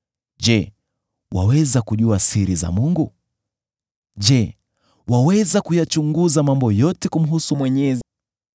“Je, waweza kujua siri za Mungu? Je, waweza kuyachunguza mambo yote kumhusu Mwenyezi?